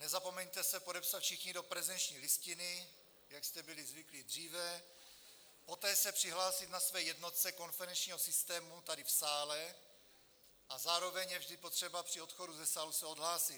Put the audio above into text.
Nezapomeňte se podepsat všichni do prezenční listiny, jak jste byli zvyklí dříve, poté se přihlásit na své jednotce konferenčního systému tady v sále a zároveň je vždy potřeba při odchodu ze sálu se odhlásit.